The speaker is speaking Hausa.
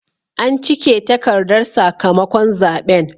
An cike takardar sakamakon zaɓen.